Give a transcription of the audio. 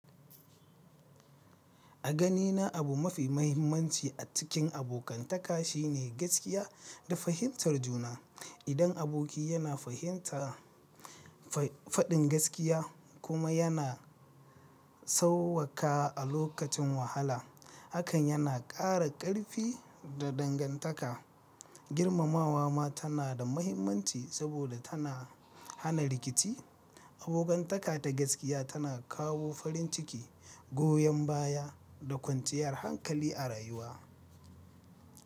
A ganina, abu mafi mahimmanci a cikin abokantaka shine gaskiya da fahimtar juna. Idan aboki yana fahimta faɗin gaskiya kuma yana sawwaƙa lokacin wahala, hakan yana ƙara ƙarfi da dangantaka. Girmamawa ma tana da mahimmanci saboda tana hana rikici. Abokantaka ta gaskiya tana kawo farin ciki, goyon baya, da kwanciyar hankali a rayuwa.